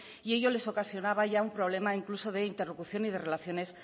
y ello les ocasionaba ya un problema de interlocución y de relaciones